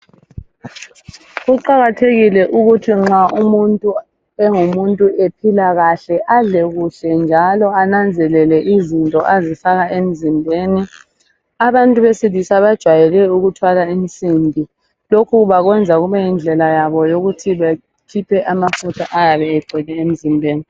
Kuqakathekile ukuthi nxa umuntu engumuntu ephila kahle adle kuhle njalo ananzelele izinto azifaka emzimbeni. Abantu besilisa bajwayele ukuthwala insimbi, lokhu bakwenza kube yindlela yabo yokuthi bakhiphe amafutha ayabe egcwele emzimbeni.